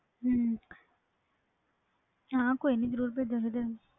ਹਾਂ ਕੋਈ ਨਾ ਜਰੂਰ ਭੇਜਾ ਤੈਨੂੰ